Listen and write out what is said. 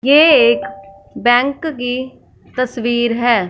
ये एक बैंक की तस्वीर है।